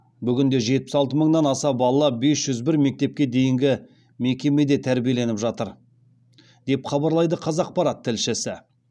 бүгінде жетпіс алты мыңнан аса бала бес жүз бір мектепке дейінгі мекемеде тәрбиеленіп жатыр деп хабарлайды қазақпарат тілшісі